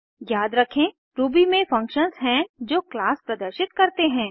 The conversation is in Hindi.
याद रखें रूबी में फंक्शन्स हैं जो क्लास प्रदर्शित करते हैं